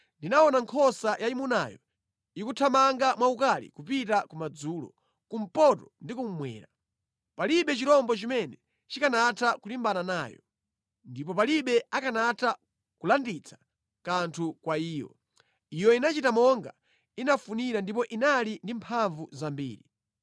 Ndinaona nkhosa yayimunayo ikuthamanga mwaukali kupita kumadzulo, kumpoto ndi kummwera. Palibe chirombo chimene chikanatha kulimbana nayo, ndipo palibe akanatha kulanditsa kanthu kwa iyo. Iyo inachita monga inafunira ndipo inali ndi mphamvu zambiri.